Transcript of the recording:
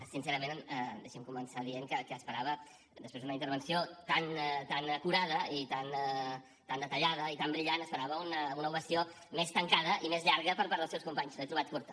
sincerament deixi’m començar dient que esperava després d’una intervenció tan acurada i tan detallada i tan brillant una ovació més tancada i més llarga per part dels seus companys l’he trobat curta